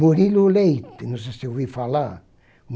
Murilo Leite, não sei se ouviu falar.